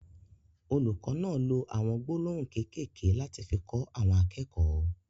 Olùkọ náà ló awọn gbólóhùn kékèké lati fi kọ àwọn akẹ́kọ̀ọ́.